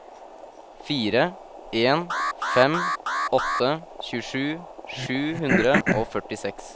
fire en fem åtte tjuesju sju hundre og førtiseks